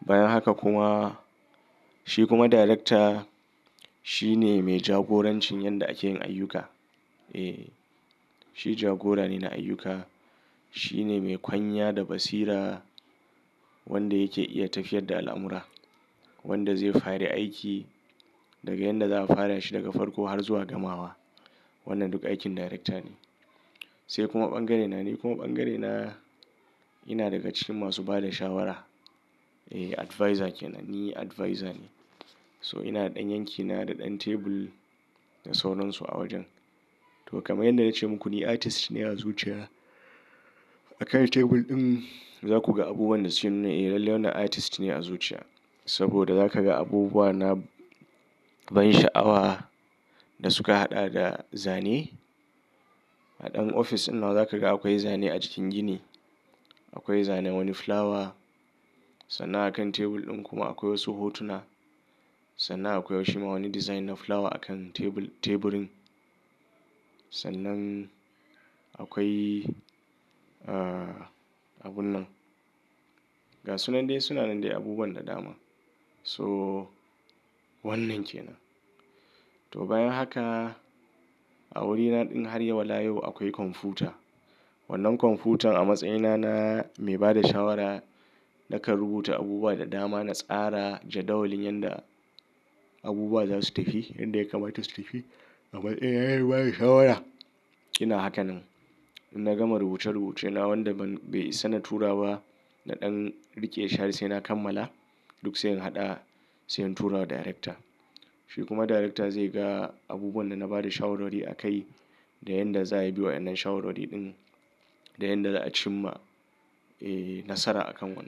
Bayan haka kuma shi kuma director shi ne mai jagoranci yanda ake yin ayyuka. Ee shi jagora ne na ayyuka. Shi ne mai kwanya da basira wanda yake iya tafiyar da al'amura. Wanda zai fare aiki daga yanda za a fara shi daga farko har zuwa gamawa. Wannan duk aikin darekta ne. Sai kuma bangare na ni kuma bangare na ina daga cikin masu ba da shawara. Ee advisor kenan. Ni advisor ne. So ina da ɗan yankina da ɗan table da sauran su a wajen. To kamar yanda na ce muku ni artist ne a zuciya. A kan tebul din za ku ga abubuwan da suke nuna ee lalle wannan artist ne a zuciya. Saboda za ka ga abubuwa na ban sha'awa da suka haɗa da zane. A ɗan office din nawa za ka ga akwai zane a jikin gini. Akwai zanan wani flower. Sannan a kan tebul din kuma akwai wasu hotuna. Sannan akwai wasu ma wani design na flower a kan table teburin. Sannan akwai ah abun nan. Ga sunan dai sunan dai abubuwan da dama. So wannan kenan. To bayan haka a wurina din har wala yau akwai kwamfuta. Wannan kwamfutan a matsayina na mai ba da shawara nakan rubuta abubuwa da dama. Na tsara jadawalin yanda abubuwa za su tafi. Yanda ya kamata su tafi. Kamar yayin baya shawara. Ina hakan nan. Na gama rubuce rubuce na wanda ban bai isana tura ba. Na ɗan riƙe shi har sai na kammala duk sai in haɗa sai in turawa darekta. Shi kuma darekta zai ga abubuwan da na bada shawarwari akai da yanda za a bi wa'yannan shawarwari din. Da yanda za a cimma nasara a kan wannan.